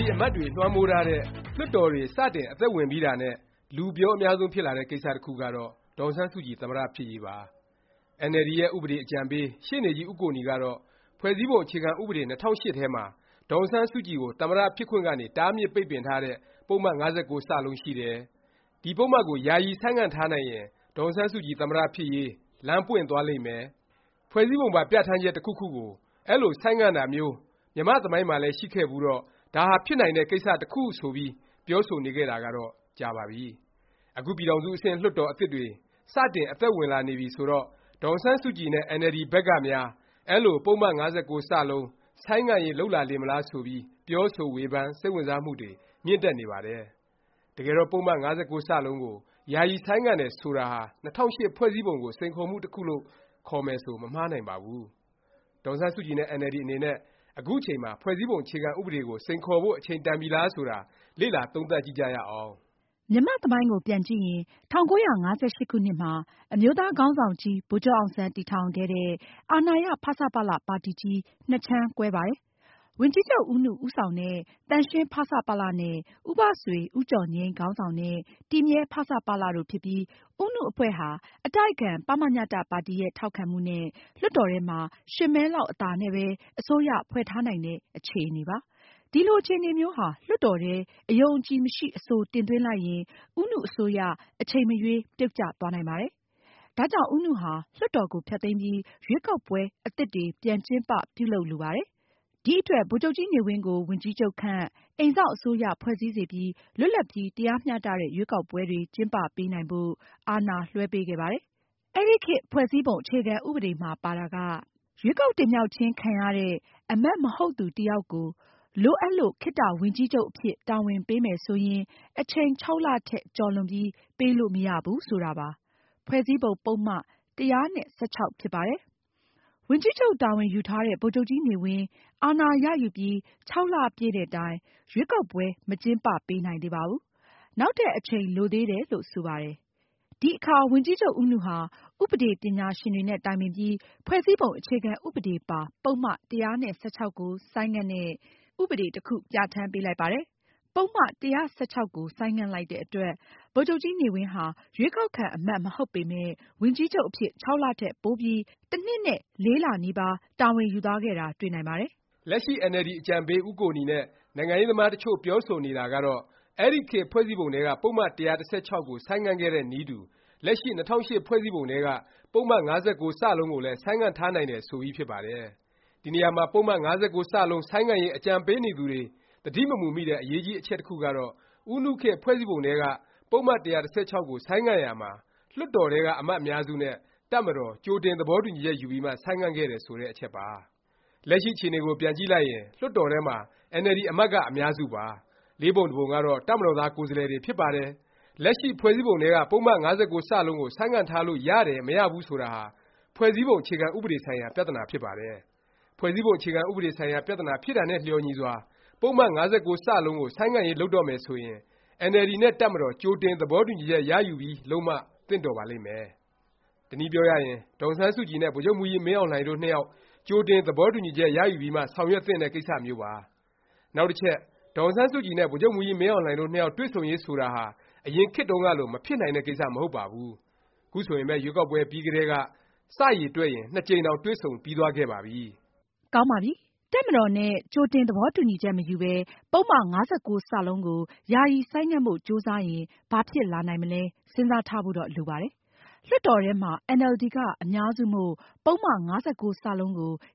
ဒီ အမတ်တွေ လွှမ်းမိုးထားတဲ့ လွှတ်တော်တွေ စတင် အသက်ဝင်ပြီးတာနဲ့ လူပြောအများဆုံး ဖြစ်လာတဲ့ ကိစ္စ တစ်ခုကတော့ ဒေါ်အောင်ဆန်းစုကြည် သမ္မတ ဖြစ်ရေးပါ။ အင်န်အယ်လ်ဒီ ရဲ့ ဥပဒေ အကြံပေး ရှေ့နေကြီး ဦးကိုနီကတော့ ဖွဲ့စည်းပုံ အခြေခံဥပဒေ ၂၀၀၈ ထဲမှာ ဒေါ်အောင်ဆန်းစုကြည်ကို သမ္မတ ဖြစ်ခွင့်ကနေ တားမြစ်ပိတ်ပင်ထားတဲ့ ပုဒ်မ ၅၉(စ) ရှိတယ်၊ ဒီ ပုဒ်မကို ယာယီ ဆိုင်းငံ့ထားနိုင်ရင် ဒေါ်အောင်ဆန်းစုကြည် သမ္မတ ဖြစ်ရေး လမ်းပွင့်သွားလိမ့်မယ်၊ ဖွဲ့စည်းပုံပါ ပြဌာန်းချက် တစ်ခုခုကို အဲလို ဆိုင်းငံ့တာမျိုး မြန်မာ့သမိုင်းမှာလည်း ရှိခဲ့ဖူးတော့ ဒါဟာ ဖြစ်နိုင်တဲ့ ကိစ္စ တစ်ခုဖြစ်တယ် ဆိုပြီး ပြောဆိုနေခဲ့တာကတော့ ကြာပါပြီ။ အခု ပြည်ထောင်စု အဆင့် လွှတ်တော်အသစ်တွေ စတင် အသက်ဝင်လာနေပြီဆိုတော့ ဒေါ်အောင်ဆန်းစုကြည်နဲ့ အင်န်အယ်လ်ဒီ ဘက်ကများ အဲလို ပုဒ်မ ၅၉(စ) ဆိုင်းငံ့ရေး လုပ်လာလေမလား ဆိုပြီး ပြောဆို ဝေဖန် စိတ်ဝင်စားမှုတွေ မြင့်တက်နေပါတယ်။ တကယ်တော့ ပုဒ်မ ၅၉(စ) ကို ယာယီ ဆိုင်းငံ့တယ် ဆိုတာဟာ ၂၀၀၈ ဖွဲ့စည်းပုံကို စိန်ခေါ်မှု တစ်ခုလို့ ခေါ်မယ်ဆို မမှားနိုင်ပါဘူး။ ဒေါ်အောင်ဆန်းစုကြည်နဲ့ အင်န်အယ်လ်ဒီ အနေနဲ့ အခု အချိန်မှာ ဖွဲ့စည်းပုံ အခြေခံဥပဒေကို စိန်ခေါ်ဖို့ အချိန်တန်ပြီလား ဆိုတာ လေ့လာ သုံးသပ်ကြည့်ကြရအောင်။ မြန်မာ့သမိုင်းကို ပြန်ကြည့်ရင် ၁၉၅၈ ခုနှစ်မှာ အမျိုးသားခေါင်းဆောင်ကြီး ဗိုလ်ချုပ်အောင်ဆန်း တည်ထောင်ခဲ့တဲ့ အာဏာရ ဖဆပလ ပါတီကြီး နှစ်ခြမ်းကွဲပါတယ်။ ဝန်ကြီးချုပ် ဦးနု ဦးဆောင်တဲ့ သန့်ရှင်း ဖဆပလ နဲ့ ဦးဘဆွေ၊ ဦးကျော်ငြိမ်း ခေါင်းဆောင်တဲ့ တည်မြဲ ဖဆပလ တို့ဖြစ်ပြီး ဦးနုအဖွဲ့ဟာ အတိုက်အခံ ပမညတ ပါတီရဲ့ ထောက်ခံမှုနဲ့ လွှတ်တော်ထဲမှာ (၈) မဲလောက် အသာနဲ့ပဲ အစိုးရဖွဲ့ထားနိုင်တဲ့ အခြေအနေပါ။ ဒီလိုအခြေအနေမျိုးဟာ လွှတ်တော်ထဲ အယုံအကြည်မရှိ အဆို တင်သွင်းလိုက်ရင် ဦးနု အစိုးရ အချိန်မရွေး ပြုတ်ကျသွားနိုင်ပါတယ်။ ဒါကြောင့် ဦးနုဟာ လွှတ်တော်ကို ဖျက်သိမ်းပြီး ရွေးကောက်ပွဲ အသစ်တွေ ပြန်ကျင်းပ ပြုလုပ်လိုပါတယ်။ ဒီအတွက် ဗိုလ်ချုပ်ကြီးနေဝင်းကို ဝန်ကြီးချုပ်ခန့်၊ အိမ်စောင့် အစိုးရ ဖွဲ့စည်းစေပြီး လွတ်လပ်ပြီး တရားမျှတတဲ့ ရွေးကောက်ပွဲတွေ ကျင်းပပေးနိုင်ဖို့ အာဏာလွဲှပေးခဲ့ပါတယ်။ အဲဒီခေတ် ဖွဲ့စည်းပုံ အခြေခံဥပဒေမှာ ပါတာက ရွေးကောက်တင်မြှောက်ခြင်း ခံရတဲ့ အမတ် မဟုတ်သူတစ်ယောက်ကို လိုအပ်လို့ ခေတ္တဝန်ကြီးချုပ် အဖြစ် တာဝန်ပေးမယ်ဆိုရင် အချိန် (၆)လ ထက် ကျော်လွန်ပြီး ပေးလို့ မရဘူး ဆိုတာပါ။ ဖွဲ့စည်းပုံ ပုဒ်မ ၁၁၆ ဖြစ်ပါတယ်။ ဝန်ကြီးချုပ် တာဝန်ယူထားတဲ့ ဗိုလ်ချုပ်ကြီးနေဝင်း အာဏာရယူပြီး ၆ လပြည့်တဲ့တိုင် ရွေးကောက်ပွဲ မကျင်းပပေးနိုင်သေးပါဘူး။ နောက်ထပ် အချိန်လိုသေးတယ်လို့ ဆိုပါတယ်။ ဒီအခါ ဝန်ကြီးချုပ် ဦးနုဟာ ဥပဒေ ပညာရှင်တွေနဲ့ တိုင်ပင်ပြီး ဖွဲ့စည်းပုံ အခြေခံဥပဒေပါ ပုဒ်မ ၁၁၆ ကို ဆိုင်းငံ့တဲ့ ဥပဒေ တစ်ခု ပြဌာန်းပေးလိုက်ပါတယ်။ ပုဒ်မ ၁၁၆ ဆိုင်းငံ့လိုက်တဲ့အတွက် ဗိုလ်ချုပ်ကြီးနေဝင်းဟာ ရွေးကောက်ခံ အမတ် မဟုတ်ပေမယ့် ဝန်ကြီးချုပ် အဖြစ် ၆ လ ထက်ပိုပြီး တစ်နှစ်နဲ့ လေးလ နီးပါး တာဝန်ယူသွားခဲ့တာ တွေ့နိုင်ပါတယ်။ လက်ရှိ အင်န်အယ်လ်ဒီ အကြံပေး ဦးကိုနီနဲ့ နိုင်ငံရေးသမား တစ်ချို့ ပြောဆိုနေတာကတော့ အဲဒီခေတ် ဖွဲ့စည်းပုံထဲက ပုဒ်မ ၁၁၆ ကို ဆိုင်းငံ့ခဲ့တဲ့ နည်းတူ လက်ရှိ ၂၀၀၈ ဖွဲ့စည်းပုံထဲက ပုဒ်မ ၅၉(စ) ကိုလည်း ဆိုင်းငံ့ထားနိုင်တယ် ဆိုပြီးဖြစ်ပါတယ်။ ဒီနေရာမှာ ပုဒ်မ၅၉(စ) ဆိုင်းငံ့ရေး အကြံပေးနေသူတွေ သတိမမူမိတဲ့ အရေးကြီး အချက်တစ်ခုကတော့ ဦးနုခေတ် ဖွဲ့စည်းပုံထဲက ပုဒ်မ ၁၁၆ ကို ဆိုင်းငံ့ရာမှာ လွှတ်တော်ထဲက အမတ်အများစုနဲ့ တပ်မတော် ကြိုတင် သဘောတူညီချက် ယူပြီးမှ ဆိုင်းငံ့ခဲ့တယ် ဆိုတဲ့ အချက်ပါ။ လက်ရှိ အခြေအနေကို ပြန်ကြည့်လိုက်ရင် လွှတ်တော်ထဲမှာ အင်န်အယ်လ်ဒီ အမတ်က အများစုပါ။ လေးပုံတစ်ပုံကတော့ တပ်မတော်သား ကိုယ်စားလှယ်တွေ ဖြစ်ပါတယ်။ လက်ရှိ ဖွဲ့စည်းပုံထဲက ပုဒ်မ ၅၉(စ) ကို ဆိုင်းငံ့ထားလို့ ရတယ်၊ မရဘူး ဆိုတာဟာ ဖွဲ့စည်းပုံ အခြေခံဥပဒေ ဆိုင်ရာ ပြသနာ ဖြစ်ပါတယ်။ ဖွဲ့စည်းပုံ အခြေခံဥပဒေ ဆိုင်ရာ ပြသနာဖြစ်တာနဲ့ လျော်ညီစွာ ပုဒ်မ ၅၉(စ) ကို ဆိုင်းငံ့ရေး လုပ်တော့မယ် ဆိုရင် အင်န်အယ်လ်ဒီ နဲ့ တပ်မတော် ကြိုတင် သဘောတူညီချက် ရယူပြီး လုပ်မှ သင့်တော်ပါလိမ့်မယ်။ တစ်နည်းပြောရရင် ဒေါ်အောင်ဆန်းစုကြည်နဲ့ ဗိုလ်ချုပ်မှူးကြီး မင်းအောင်လှိုင် တို့ နှစ်ယောက် ကြိုတင် သဘောတူညီချက် ရယူပြီးမှ ဆောင်ရွက်သင့်တဲ့ ကိစ္စမျိုးပါ။ နောက်တစ်ချက် ဒေါ်အောင်ဆန်းစုကြည်နဲ့ ဗိုလ်ချုပ်မှူးကြီး မင်းအောင်လှိုင်တို့ နှစ်ယောက် တွေ့ဆုံရေး ဆိုတာဟာ အရင်ခေတ်တုန်းကလို မဖြစ်နိုင်တဲ့ ကိစ္စ မဟုတ်ပါဘူး။ ခုဆိုရင်ပဲ ရွေးကောက်ပွဲ ပြီးကတည်းက စ ရေတွက်ရင် နှစ်ကြိမ်တောင် တွေ့ဆုံပြီးသွားခဲ့ပါပြီ။ ကောင်းပါပြီ။ တပ်မတော်နဲ့ ကြိုတင်သဘောတူညီချက် မယူပဲ ပုဒ်မ ၅၉(စ) ကို ယာယီ ဆိုင်းငံ့ဖို့ ကြိုးစားရင် ဘာဖြစ်လာနိုင်မလဲ စဉ်းစားထားဖို့တော့ လိုပါတယ်။ လွှတ်တော်ထဲမှာ အင်န်အယ်လ်ဒီ က အများစုမို့ “ပုဒ်မ ၅၉(စ) ကို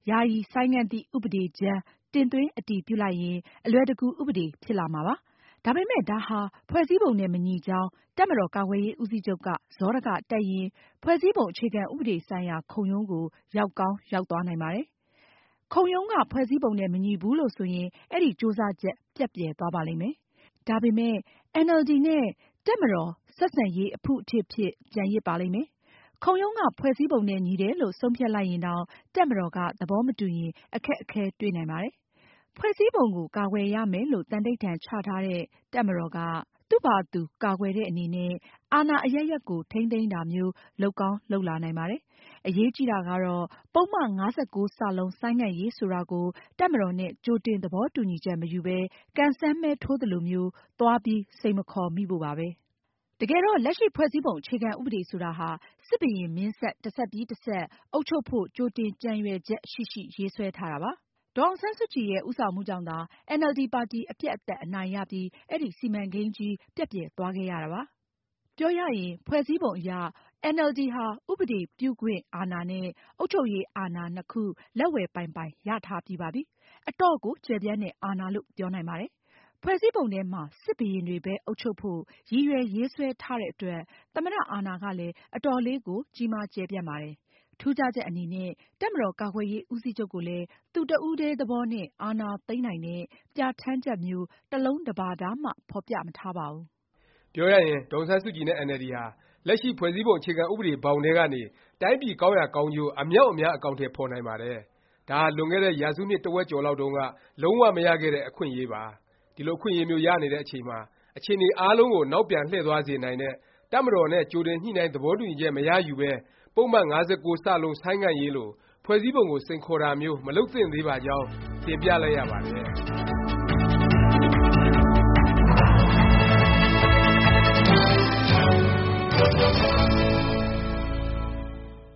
ယာယီ ဆိုင်းငံ့သည့် ဥပဒေကြမ်း ” တင်သွင်း၊ အတည်ပြုလိုက်ရင် အလွယ်တကူ ဥပဒေ ဖြစ်လာမှာပါ။ ဒါပေမယ့် ဒါဟာ ဖွဲ့စည်းပုံနဲ့ မညီကြောင်း တပ်မတော်ကာကွယ်ရေးဦးစီးချုပ်က စောဒက တက်ရင် ဖွဲ့စည်းပုံ အခြေခံဥပဒေဆိုင်ရာ ခုံရုံးကို ရောက်ကောင်း ရောက်သွားနိုင်ပါတယ်။ ခုံရုံးက ဖွဲ့စည်းပုံနဲ့ မညီဘူး လို့ ဆိုရင် အဲဒီ ကြိုးစားချက် ပျက်ပြယ်သွားပါလိမ့်မယ်။ ဒါပေမယ့် အင်န်အယ်လ်ဒီ နဲ့ တပ်မတာ် ဆက်ဆံရေး အဖုအထစ်ဖြစ် ကျန်ရစ်ပါလိမ့်မယ်။ ခုံရုံးက ဖွဲ့စည်းပုံနဲ့ ညီတယ်လို့ ဆုံးဖြတ်လိုက်ရင်တောင် တပ်မတော်က သဘောမတူရင် အခက်အခဲ တွေ့နိုင်ပါတယ်။ ဖွဲ့စည်းပုံကို ကာကွယ်ရမယ်လို့ သံန္နိဌာန် ချထားတဲ့ တပ်မတော်က သူ့ဖာသာသူ ကာကွယ်တဲ့ အနေနဲ့ အာဏာအရပ်ရပ်ကို ထိန်းသိမ်းတာမျိုး လုပ်ကောင်း လုပ်လာနိုင်ပါတယ်။ အရေးကြီးတာကတော့ ပုဒ်မ ၅၉(စ) ဆိုင်းငံ့ရေးဆိုတာကို တပ်မတော်နဲ့ ကြိုတင်သဘောတူညီချက် မယူပဲ ကံစမ်းမဲထိုးသလို သွားပြီး စိန်မခေါ်မိဖို့ပါပဲ။ တကယ်တော့ လက်ရှိ ဖွဲ့စည်းပုံ အခြေခံဥပဒေ ဆိုတာဟာ စစ်ဘုရင်မင်းဆက် တစ်ဆက်ပြီး တစ်ဆက် အုပ်ချုပ်ဖို့ ကြိုတင်ကြံရွယ်ချက် ရှိရှိ ရေးဆွဲထားတာပါ။ ဒေါ်အောင်ဆန်းစုကြည်ရဲ့ ဦးဆောင်မှုကြောင့်သာ အင်န်အယ်လ်ဒီ ပါတီ အပြတ်အသတ် အနိုင်ရပြီး အဲဒီ စီမံကိန်းကြီး ပျက်ပြယ်သွားခဲ့ရတာဖြစ်ပါတယ်။ ပြောရရင် ဖွဲ့စည်းပုံအရ အင်န်အယ်လ်ဒီဟာ ဥပဒေပြုခွင့် အာဏာနဲ့ အုပ်ချုပ်ရေးအာဏာ နှစ်ခု လက်ဝယ်ပိုင်ပိုင် ရထားပြီးပါပြီ။ အတော့်ကို ကျယ်ပြန့်တဲ့ အာဏာလို့ ပြောနိုင်ပါတယ်။ ဖွဲ့စည်းပုံထဲမှာ စစ်ဘုရင်တွေပဲ အုပ်ချုပ်ဖို့ ရည်ရွယ်ရေးဆွဲထားတဲ့အတွက် သမ္မတ အာဏာကလည်း အတော်လေးကို ကြီးမား ကျယ်ပြန့်ပါတယ်။ ထူးခြားချက် အနေနဲ့ တပ်မတော်ကာကွယ်ရေး ဦးစီးချုပ်ကိုလည်း သူ့ တစ်ဦးတည်း သဘောနဲ့ အာဏာသိမ်းနိုင်တဲ့ ပြဌာန်းချက်မျိုး တစ်လုံးတစ်ပါဒမှ ဖော်ပြမထားပါဘူး။ ပြောရရင် ဒေါ်အောင်ဆန်းစုကြည်နဲ့ အင်န်အယ်လ်ဒီဟာ လက်ရှိ ဖွဲ့စည်းပုံ အခြေခံဥပဒေ ဘောင်ထဲကနေ တိုင်းပြည် ကောင်းရာကောင်းကျိုး အမြောက်အများ အကောင်အထည် ဖော်နိုင်ပါတယ်။ ဒါဟာ လွန်ခဲ့တဲ့ ရာစုနှစ် တစ်ဝက်ကျော်လောက်တုန်းက လုံး၀ မရခဲ့တဲ့ အခွင့်အရေးပါ။ ဒီလို အခွင့်အရေးမျိုး ရနေတဲ့ အချိန်မှာ အခြေအနေ အားလုံးကို နောက်ပြန်လှည့်သွားစေနိုင်တဲ့၊ တပ်မတော်နဲ့ ကြိုတင်ညှိနှိုင်း သဘောတူညီချက် မရယူပဲ ပုဒ်မ ၅၉(စ) ဆိုင်းငံ့ရေးလို ဖွဲ့စည်းပုံကို စိန်ခေါ်တာမျိုး မလုပ်သင့်သေးပါကြောင်း တင်ပြလိုက်ရပါတယ်။